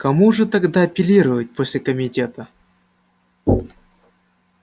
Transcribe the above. к кому же тогда апеллировать после комитета